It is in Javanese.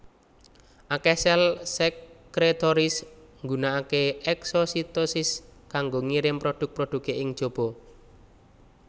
Akeh sel sekretoris nggunakake eksositosis kanggo ngirim produk produke ing jaba